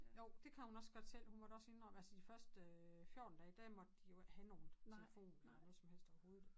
Jo det kan hun også godt selv hun måtte også indrømme altså de første øh 14 dage der måtte de jo ikke have nogen telefon eller noget som helst overhovedet